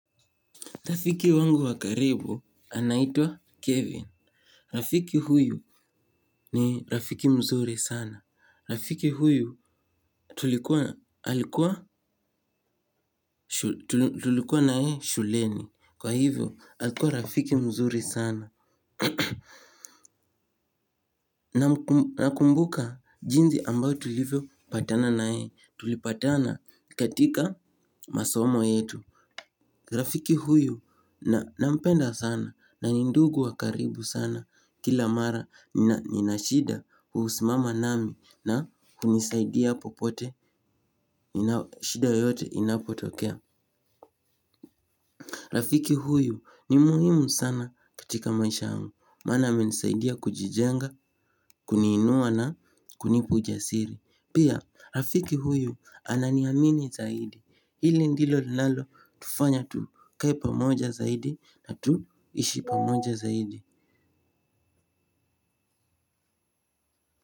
Rafiki wangu wa karibu anaitwa Kevin. Rafiki huyu ni rafiki mzuri sana. Rafiki huyu tulikuwa naye shuleni. Kwa hivyo, alikuwa rafiki mzuri sana. Nakumbuka jinsi ambayo tulivyo patana naye. Tulipatana katika masomo yetu. Rafiki huyu nampenda sana. Na ni ndugu wa karibu sana kila mara ninashida kuhusimama nami na hunisaidia popote shida yoyote inapotokea. Rafiki huyu ni muhimu sana katika maisha yangu. Maana amenisaidia kujijenga kuni inua na kunipu ujasiri. Pia rafiki huyu ananiamini zaidi. Hili ndilo linalo tufanya tukae pamoja zaidi na tuishi pamoja zaidi.